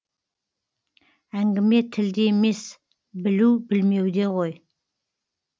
әңгіме тілде емес білу білмеуде ғой